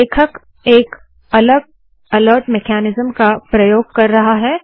लेखक एक अलग अलर्ट मेकनिज़म का प्रयोग कर रहा है